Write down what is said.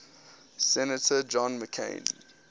senator john mccain